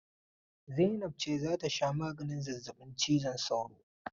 Zainab ce za ta sha maganin zazzabin cizon sauro.